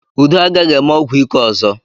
Udo agaghị eme ọgwụ ike ọzọ.